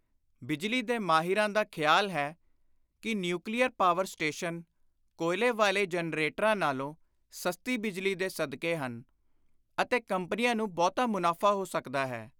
ਬਿਜਲੀ ਦੇ ਮਾਹਿਰਾਂ ਦਾ ਖ਼ਿਆਲ ਹੈ ਕਿ ਨਿਉਕਲੀਅਰ ਪਾਵਰ ਸਟੇਸ਼ਨ ਕੋਇਲੇ ਵਾਲੇ ਜੈਨਰੇਟਰਾਂ ਨਾਲੋਂ ਸਸਤੀ ਬਿਜਲੀ ਦੇ ਸਕਦੇ ਹਨ ਅਤੇ ਕੰਪਨੀਆਂ ਨੂੰ ਬਹੁਤਾ ਮੁਨਾਫ਼ਾ ਹੋ ਸਕਦਾ ਹੈ।